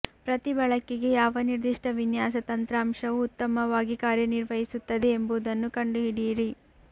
ಪ್ರತಿ ಬಳಕೆಗೆ ಯಾವ ನಿರ್ದಿಷ್ಟ ವಿನ್ಯಾಸ ತಂತ್ರಾಂಶವು ಉತ್ತಮವಾಗಿ ಕಾರ್ಯನಿರ್ವಹಿಸುತ್ತದೆ ಎಂಬುದನ್ನು ಕಂಡುಹಿಡಿಯಿರಿ